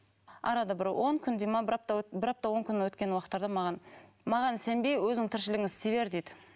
арада бір он күндей ме бір апта бір апта он күн өткен уақыттарда маған маған сенбей өзіңнің тіршілігіңді істей бер дейді